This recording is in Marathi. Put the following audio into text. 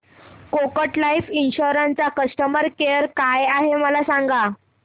कोटक लाईफ इन्शुरंस चा कस्टमर केअर काय आहे मला सांगा